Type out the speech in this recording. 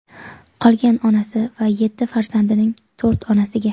Qolgani onasi va yetti farzandining to‘rt onasiga.